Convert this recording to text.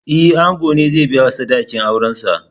E, ango ne zai biya sadakin aurensa.